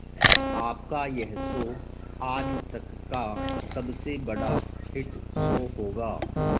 आपका यह शो आज तक का सबसे बड़ा हिट शो होगा